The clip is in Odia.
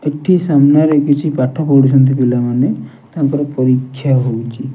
ଏଠି ସାମ୍ନାରେ କିଛି ପାଠ ପଢୁଛନ୍ତି ପିଲାମାନେ ତାଙ୍କର ପରୀକ୍ଷା ହଉଛି।